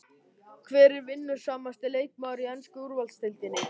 Hver er vinnusamasti leikmaðurinn í ensku úrvalsdeildinni?